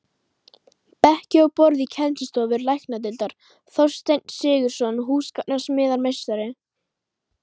Bekki og borð í kennslustofur læknadeildar: Þorsteinn Sigurðsson, húsgagnasmíðameistari.